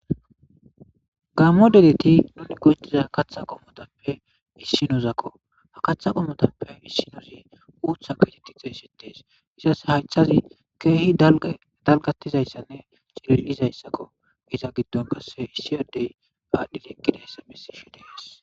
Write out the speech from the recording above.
Gammo deleti nuni gohutiza katha qommotappe issinozakko ha katha qommotappe issinozi uutha keteti xeesitees izas haycthazi keehi dalgatizayssanne cililizayssakko iza giddon kasse issiyadey aadhdhi liiqkida hessa besishi dees